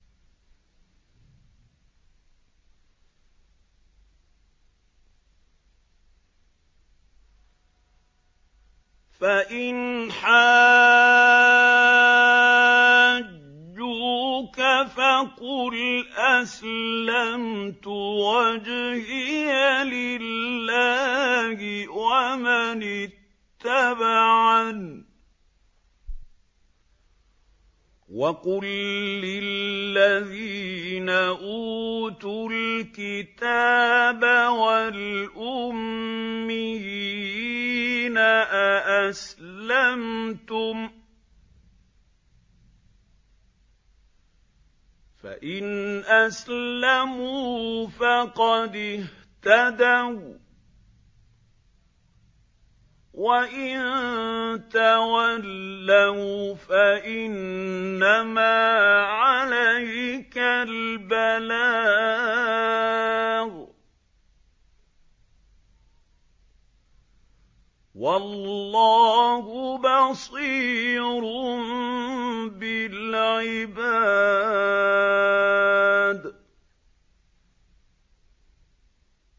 فَإِنْ حَاجُّوكَ فَقُلْ أَسْلَمْتُ وَجْهِيَ لِلَّهِ وَمَنِ اتَّبَعَنِ ۗ وَقُل لِّلَّذِينَ أُوتُوا الْكِتَابَ وَالْأُمِّيِّينَ أَأَسْلَمْتُمْ ۚ فَإِنْ أَسْلَمُوا فَقَدِ اهْتَدَوا ۖ وَّإِن تَوَلَّوْا فَإِنَّمَا عَلَيْكَ الْبَلَاغُ ۗ وَاللَّهُ بَصِيرٌ بِالْعِبَادِ